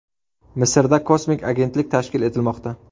Misrda kosmik agentlik tashkil etilmoqda.